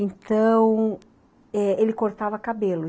Então, é ele cortava cabelo.